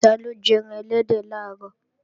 Taló jẹ́ran ẹlẹ́dẹ̀ làárọ̀?